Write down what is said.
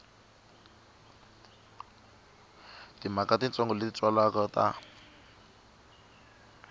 timhaka titsongo leti twalaka a